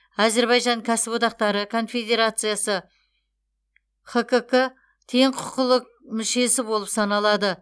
әзірбайжан кәсіподақтары конфедерациясы хкк тең құқылы мүшесі болып саналады